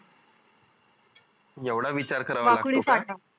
एवढा विचार करावा लागतो का